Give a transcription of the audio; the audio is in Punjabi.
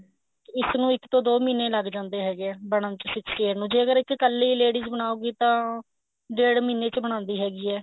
ਇਸ ਨੂੰ ਇੱਕ ਤੋ ਦੋ ਮਹੀਨੇ ਲੱਗ ਜਾਂਦੇ ਹੈਗੇ ਆ ਬਣਨ ਚ sixty eight ਨੂੰ ਜੇਕਰ ਇਸ ਚ ਕੱਲੀ ladies ਬਣਾਉਗੀ ਤਾਂ ਡੇਢ ਮਹੀਨੇ ਚ ਬਣਾਦੀ ਹੈਗੀ ਹੈ